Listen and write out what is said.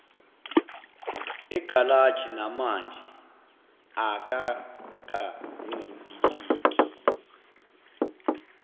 egalaji namanje akakancibiliki